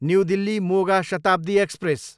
new Delhi, Moga Shatabdi express